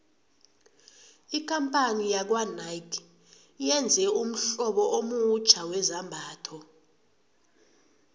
ikampani yakwanike yenze ummhlobo omutjha wezambhatho